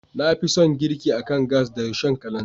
Na fi son girki akan gas da Rishon kalanzir.